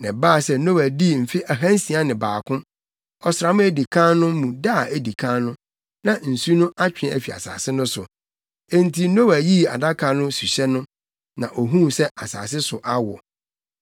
Na ɛbaa sɛ Noa dii mfe ahansia ne baako, ɔsram a edi kan no mu da a edi kan no, na nsu no atwe afi asase no so. Enti Noa yii Adaka no suhyɛ no, na ohuu sɛ asase so awo.